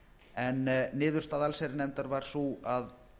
en niðurstaða allsherjarnefndar var sú að